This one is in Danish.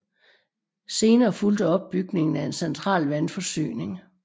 Senere fulgte opbygningen af en central vandforsyning